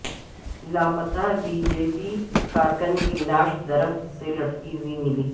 لاپتہ B J P کارکن کی لاش درخت سے لٹکی ہوئی ملی